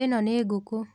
ĩno nĩ ngũkũ.